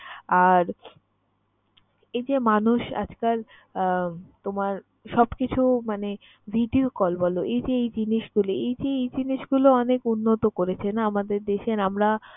আর এই যে মানুষ আজকাল আহ তোমার সবকিছু মানে video call বল, এই যে এই জিনিসগুলো এই যে এই জিনিসগুলো অনেক উন্নত করেছে না আমাদের দেশের। আমরা